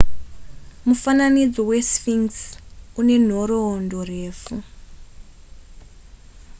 mufananidzo wesphinx une nhoroondo refu